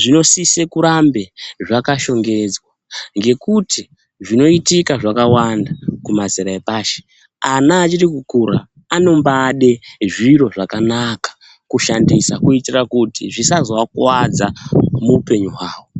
zvinosisa kurambe zvakashongedzwa ngekuti zvinoitika zvakawanda kumazera epashi vana vachikukura vanombade zviro zvakanaka kushandisa kuitira kuti zvisazovakuwadza muupenyu hwavo